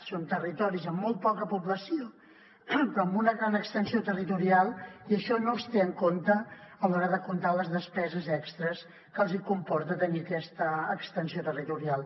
són territoris amb molt poca població però amb una gran extensió territorial i això no es té en compte a l’hora de comptar les despeses extres que els comporta tenir aquesta extensió territorial